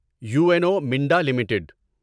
you N O Minda limited